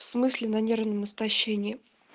в смысле на нервном истощении